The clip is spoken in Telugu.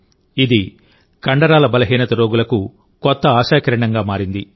ఇది కండరాల బలహీనత రోగులకు కొత్త ఆశాకిరణంగా మారింది